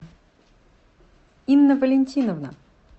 инна валентиновна